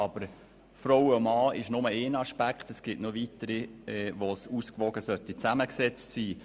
Aber das Geschlecht ist nur ein Aspekt, und es gibt weitere, wo eine Ausgewogenheit sinnvoll wäre.